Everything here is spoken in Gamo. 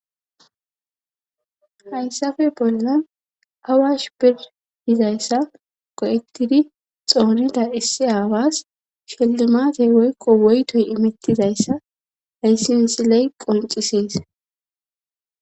Hayssafe bolla awash pirdizayssa qo'ettidi xoonita issi aawas shellimatey woykqo woytoy imittidayssa hayssi misiley qoncisees.